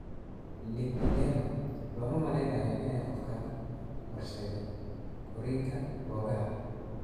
Lipedema looma malaynayo inay qofka u horseeddo korriinka boogaha.